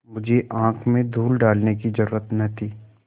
मुझे आँख में धूल डालने की जरुरत न थी